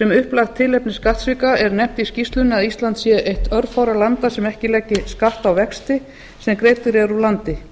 sem upplagt tilefni skattsvika er nefnt í skýrslunni að ísland sé eitt örfárra landa sem ekki leggi skatta á vexti sem greiddir eru úr landi